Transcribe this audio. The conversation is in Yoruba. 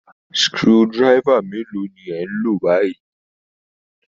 Screw driver mélòó ni ẹ̀ ń lò báyìí